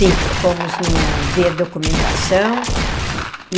Sim, fomos no ver documentação.